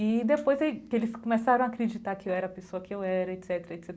E depois que eles começaram a acreditar que eu era a pessoa que eu era, et cetera et cetera.